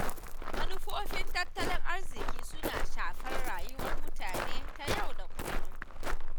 Manufofin tattalin arziƙi suna shafar rayuwar mutane ta yau da kullum.